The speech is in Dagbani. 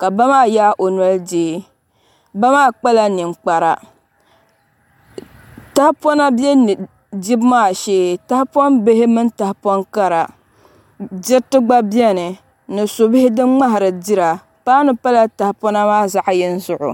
ka ba maa yaai o noli deei ba maa kpala ninkpara tahapona bɛ dibu maa shee tahapoŋ bihi mini tahapoŋ kara diriti gba biɛni ni su bihi din ŋmahari dira paanu pala tahapona maa zaɣ yini zuɣu